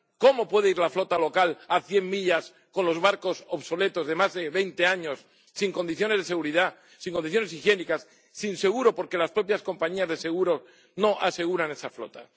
¿Cómo puede ir la flota local a cien millas con los barcos obsoletos de más de veinte años, sin condiciones de seguridad, sin condiciones higiénicas, sin seguro porque las propias compañías de seguro no aseguran esa flota?